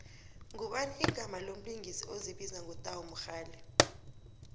ngubani igama lomlingisi ozibiza ngo tau mogale